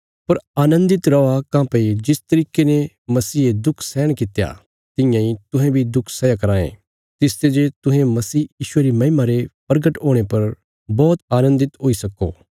पर आनन्दित रौआ काँह्भई जिस तरिके ने मसीहे दुख सैहण कित्या तियां इ तुहें बी दुख सैया कराँएं तिसते जे तुहें मसीह यीशुये री महिमा रे प्रगट हुणे पर बौहत आनन्दित हुई सक्को